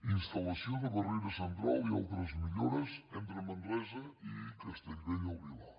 instal·lació de barrera central i altres millores entre manresa i castellbell i el vilar